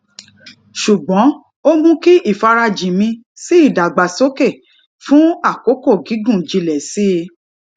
ṣùgbọn ó mú kí ifarajin mi sí ìdàgbàsókè fún àkókò gígùn jinlẹ sí i